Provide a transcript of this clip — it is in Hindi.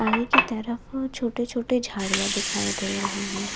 पानी की तरफ छोटे छोटे झाड़ियां दिखाई दे रहे हैं।